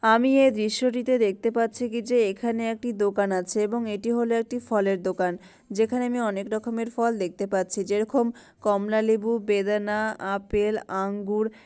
আমি এ দৃশ্যটিতে দেখতে পাচ্ছি কি যে এখানে একটি দোকান আছে এবং এটি হলো একটি ফলের দোকান যেখানে আমি অনেক রকমের ফল দেখতে পাচ্ছি যে রকম কমলালেবু বেদানা আপেল আঙ্গুর।